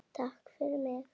Takk fyrir mig.